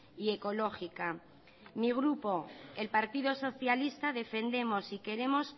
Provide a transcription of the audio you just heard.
y ecológica mi grupo el partido socialista defendemos y queremos